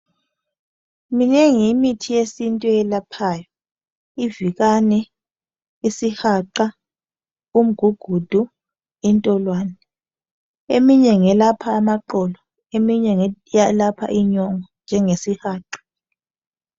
Minengi imithi yesintu eyelaphayo ivikani isihaqa , umgugudu intolwane eminye ngelapha amaqolo eminye ngelapha inyongo njenjesihaqa.